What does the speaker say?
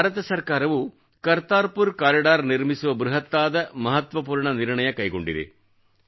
ಭಾರತ ಸರ್ಕಾರವು ಕರ್ತಾರ್ಪುರ್ ಕಾರಿಡಾರ್ ನಿರ್ಮಿಸುವ ಬೃಹತ್ತಾದ ಮಹತ್ವಪೂರ್ಣ ನಿರ್ಣಯ ಕೈಗೊಂಡಿದೆ